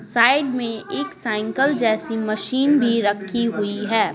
Side में एक cycle जैसी मशीन भी रखी हुई है।